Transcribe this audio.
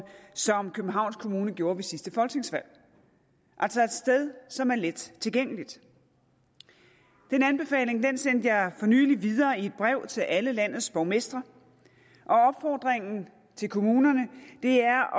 sådan som københavns kommune gjorde ved sidste folketingsvalg altså et sted som er let tilgængeligt den anbefaling sendte jeg for nylig videre i et brev til alle landets borgmestre og opfordringen til kommunerne er